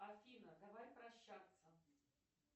афина давай прощаться